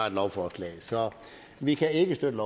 et lovforslag så vi kan ikke støtte